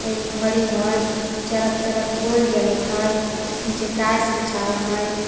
एगो घड़ी हइ चरक चरक बॉल जलत हइ नीचे टाइल्स बिछावल हइ ।